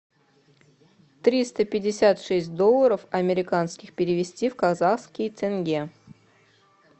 триста пятьдесят шесть долларов американских перевести в казахские тенге